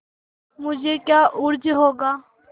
मुझे क्या उज्र होगा